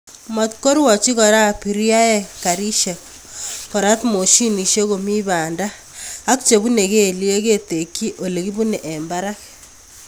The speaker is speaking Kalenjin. Matkorwochi Kora abiriaek garisiek korat moshinishek komi banda ak chebunei kelyek ketekchi Ole kibunei eng barak